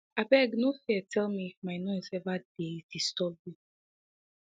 abeg no fear tell me if my noise ever dey disturb you